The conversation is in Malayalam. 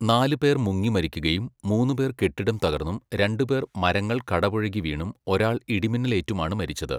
നാല് പേർ മുങ്ങിമരിക്കുകയും, മൂന്ന് പേർ കെട്ടിടം തകർന്നും, രണ്ട് പേർ മരങ്ങൾ കടപുഴകി വീണും, ഒരാൾ ഇടിമിന്നലേറ്റുമാണ് മരിച്ചത്.